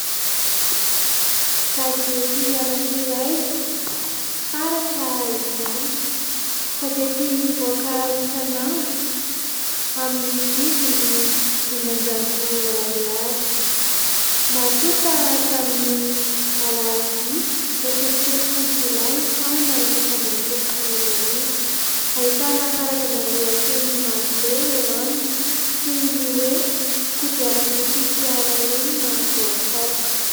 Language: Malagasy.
Gazety anankiray, « Taratra » izany. Gazety mivoaka isan'andro amin'ny vidiny dimanjato ariary ; natonta tamin'ny Alarobia iraika amby telopolo jolay, taona efatra amby roapolo sy roa arivo. Ahitana karazana lohateny marobe eo aminy, toy ny hoe :« Kodiarandroa sy fiara enina voafaoka ».